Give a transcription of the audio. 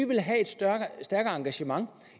vil have et stærkere engagement